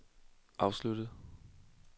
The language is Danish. afsluttet